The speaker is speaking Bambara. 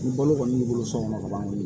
Ni balo kɔni b'i bolo so kɔnɔ ka ban bi